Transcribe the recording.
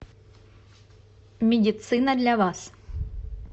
медицина для вас